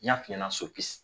N y'a f'i iɲɛna so pisi